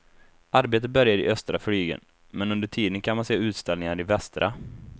Arbetet börjar i östra flygeln, men under tiden kan man se utställningar i västra.